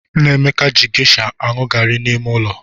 Nnameka ji gesha anụ garị n'ime ụlọ.